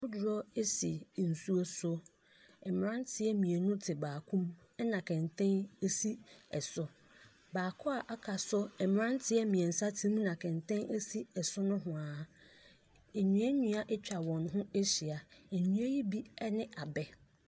Kodoɔ si nsuo so. Mmeranteɛ mmienu te baako mu na kɛntɛn si so. Baako a aka nso, mmeranteɛ mmiɛnsa te mu na kɛntɛn si soro nehoa. Nnuannua atwa wɔn ho ahyia, nnua yi bi ne abɛ.